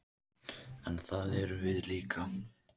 En það erum við líka